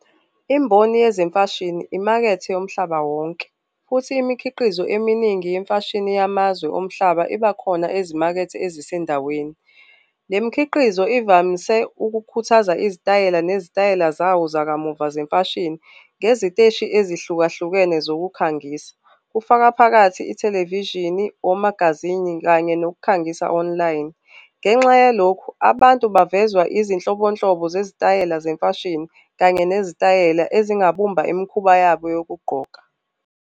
Imboni yezemfashini imakethe yomhlaba wonke, futhi imikhiqizo eminingi yemfashini yamazwe omhlaba ibakhona ezimakethe ezisendaweni. Le mikhiqizo ivamise ukukhuthaza izitayela nezitayela zawo zakamuva zemfashini ngeziteshi ezihlukahlukene zokukhangisa, kufaka phakathi i-television-i, omagazini kanye nokukhangisa online. Ngenxa yalokhu abantu bavezwa izinhlobonhlobo zezitayela zemfashini kanye nezitayela ezingabumba imikhuba yabo yokugqoka.